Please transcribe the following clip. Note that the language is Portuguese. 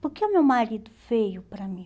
Por que o meu marido veio para mim?